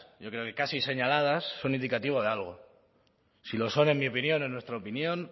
yo creo que casi señaladas son indicativo de algo si lo son en mi opinión en nuestra opinión